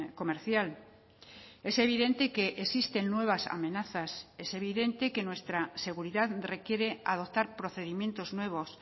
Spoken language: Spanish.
comercial es evidente que existen nuevas amenazas es evidente que nuestra seguridad requiere adoptar procedimientos nuevos